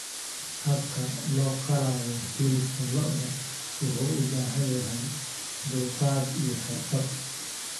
Habka loo qalayo hilibka lo'da wuxuu u baahan yahay dulqaad iyo xirfad.